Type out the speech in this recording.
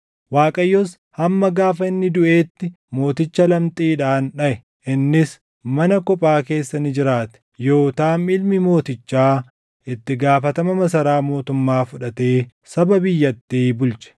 Waaqayyos hamma gaafa inni duʼeetti mooticha lamxiidhaan dhaʼe; innis mana kophaa keessa ni jiraate. Yootaam ilmi mootichaa itti gaafatama masaraa mootummaa fudhatee saba biyyattii bulche.